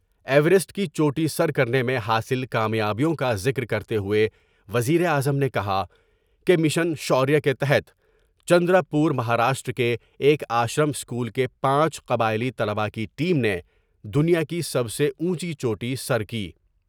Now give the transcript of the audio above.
Everest کی چوٹی سر کرنے میں حاصل کا میابیوں کا ذکر کرتے ہوئے وزیراعظم نے کہا کیمشن شوریا کے تحت چندرا پر مہاراشٹرا کے ایک آشرم اسکول کے پانچ قبائیلی طلبہ کی ٹیم نے دنیا کی سب سے اونچی چوٹی سر کی ۔